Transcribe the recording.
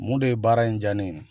Mun de ye baara in diya ne ye?